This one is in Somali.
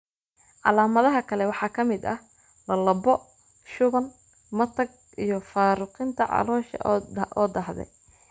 Calaamadaha kale waxaa ka mid ah: lallabbo, shuban, matag, iyo faaruqinta caloosha oo daahday.